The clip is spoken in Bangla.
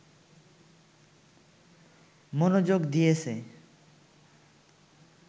মনোযোগ দিয়েছে